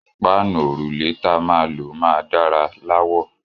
Páànù òrùlé ta ma lò máa dára lawọ̀